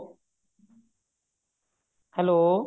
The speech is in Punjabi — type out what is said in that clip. hello